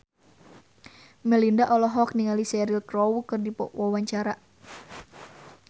Melinda olohok ningali Cheryl Crow keur diwawancara